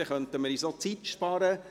Dann könnten wir uns auch Zeit sparen.